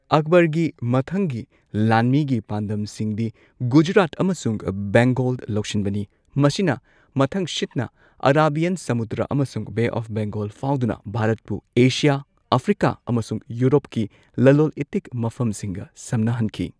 ꯑꯛꯕꯔꯒꯤ ꯃꯊꯪꯒꯤ ꯂꯥꯟꯃꯤꯒꯤ ꯄꯥꯟꯗꯝꯁꯤꯡꯗꯤ ꯒꯨꯖꯔꯥꯠ ꯑꯃꯁꯨꯡ ꯕꯦꯡꯒꯣꯜ ꯂꯧꯁꯤꯟꯕꯅꯤ꯫ ꯃꯁꯤꯅ ꯃꯊꯪꯁꯤꯠꯅ ꯑꯔꯥꯥꯕꯤꯌꯟ ꯁꯃꯨꯗ꯭ꯔ ꯑꯃꯁꯨꯡ ꯕꯦ ꯑꯣꯐ ꯕꯦꯡꯥꯒꯣꯜ ꯐꯥꯎꯗꯨꯅ ꯚꯥꯔꯠꯄꯨ ꯑꯦꯁꯤꯌꯥ, ꯑꯐ꯭ꯔꯤꯀꯥ ꯑꯃꯁꯨꯡ ꯌꯨꯔꯣꯞꯀꯤ ꯂꯂꯣꯜ ꯢꯇꯤꯛꯀꯤ ꯃꯐꯝꯁꯤꯡꯒ ꯁꯝꯅꯍꯟꯈꯤ꯫